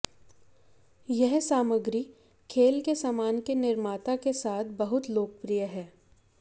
यह सामग्री खेल के सामान के निर्माता के साथ बहुत लोकप्रिय है